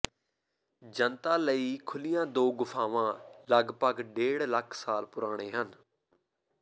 ਜਨਤਾ ਲਈ ਖੁੱਲ੍ਹੀਆਂ ਦੋ ਗੁਫ਼ਾਵਾਂ ਲਗਪਗ ਡੇਢ ਲੱਖ ਸਾਲ ਪੁਰਾਣੇ ਹਨ